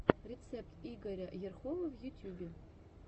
рецепт игоря ерхова в ютьюбе